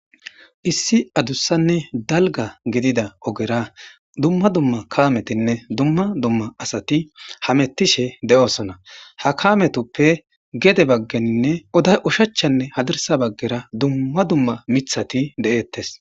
issi adussanne dalga gidida ogera dumma dumma kametinne dumma dumma asati hamettishe de7osona ha kametoppe gede baggeninne oday ushachanne hadirsa baggera dumma dumma mithati de7ettes